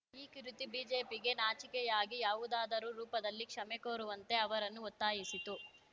ಈ ಕುರಿತು ಬಿಜೆಪಿಗೇ ನಾಚಿಕೆಯಾಗಿ ಯಾವುದಾದರೂ ರೂಪದಲ್ಲಿ ಕ್ಷಮೆ ಕೋರುವಂತೆ ಅವರನ್ನು ಒತ್ತಾಯಿಸಿತು